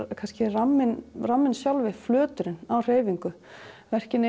ramminn ramminn sjálfur er flöturinn á hreyfingu verkin